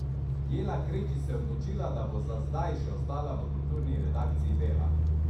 Jela Krečič se je odločila, da bo za zdaj še ostala v Kulturni redakciji Dela!